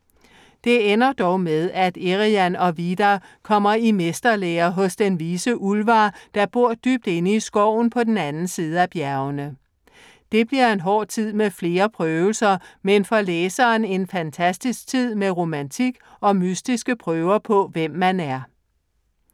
Det ender dog med, at Eriann og Vidar kommer i mesterlære hos den vise Ullvar, der bor dybt inde i skoven på den anden side af bjergene. Det bliver en hård tid med flere prøvelser, men for læseren en fantastisk tid, med romantik og mystiske prøver på, hvem man er.